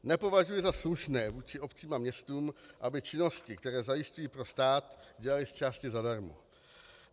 Nepovažuji za slušné vůči obcím a městům, aby činnosti, které zajišťují pro stát, dělaly zčásti zadarmo.